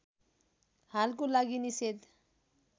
हालको लागि निषेध